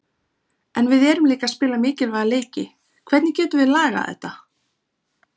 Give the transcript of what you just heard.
En við erum líka að spila mikilvæga leiki, hvernig getum við lagað þetta?